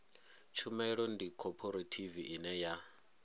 tshumelo ndi khophorethivi ine ya